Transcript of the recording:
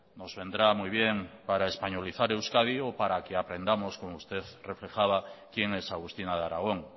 nos vendrá muy bien para españolizar euskadi o para que aprendamos como usted reflejaba quién es agustina de aragón